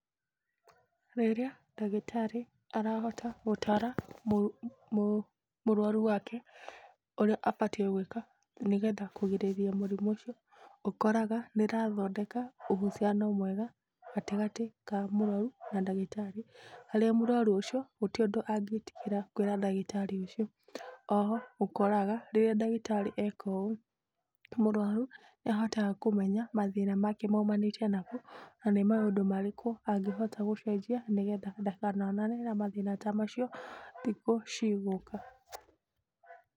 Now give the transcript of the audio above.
Rĩrĩa ndagĩtarĩ arahota gũtaara mũrũaru wake, ũrĩa abatiĩ gwĩka nĩgetha kũgirĩrĩria mũrimũ ũcio, ũkoraga nĩrathondeka ũhuciano mwega gatagatĩ ka mũrũaru na ndagĩtarĩ, harĩa mũrũaru ũcio gũtirĩ ũndũ angĩtigĩra kwĩra ndagĩtarĩ ũcio. Oho, ũkoraga, rĩrĩa ndagĩtarĩ eka ũũ, mũrũaru nĩ ahotaga kũmenya mathĩna make maumanĩte nakũ, na nĩ maũndũ marĩkũ angĩhota gũcenjia nĩgetha ndakanonane na mathĩna ta macio thikũ cigũka.